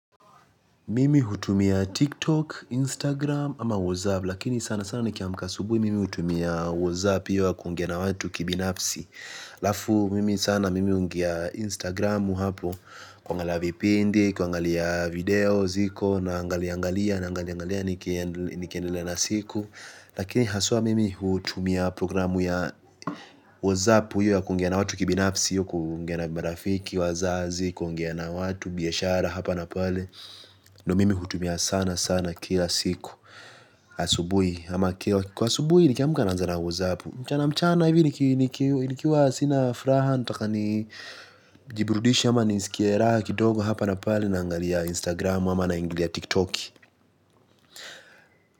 Mimi hutumia tiktok, instagram ama whatsapp lakini sana sana nikiamka asubuhi mimi hutumia whatsapp hiyo ya kuongea na watu kibinafsi halafu mimi sana mimi huingia instagram hu hapo kuangalia vipndi, kuangalia video ziko naangaliangalia naangaliangalia nikiendelea na siku. Lakini haswa mimi hutumia programu ya whatsapp hiyo ya kuongea na watu kibinafsi hiyo kuongea na marafiki, wazazi, kuongea na watu, biashara hapa na pale. Ndio mimi hutumia sana sana kila siku. Asubuhi ama Kwa Asubuhi nikiamka nanzana whatsapp. Mchana mchana hivi nikiwa sina furaha. Nataka ni jiburudishe ama nisikie raha. Kidogo hapa na pale naangalia Instagram ama na ingilia TikTok.